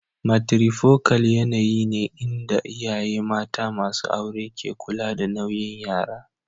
Matrifocal yanayi ne inda iyaye mata masu aure ke kula da nauyin yara.